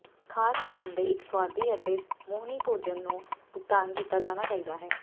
ਖਾਸ ਧਿਆਨ ਦੇ ਇੱਕ ਸੁਆਦੀ ਅਤੇ ਮੋਹਣੀ ਭੋਜਨ ਨੂੰ ਭੁਗਤਾਨ ਕੀਤਾ ਜਾਣਾ ਚਾਹੀਦਾ ਹੈ